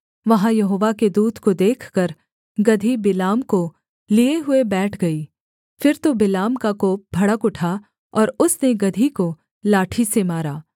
वहाँ यहोवा के दूत को देखकर गदही बिलाम को लिये हुए बैठ गई फिर तो बिलाम का कोप भड़क उठा और उसने गदही को लाठी से मारा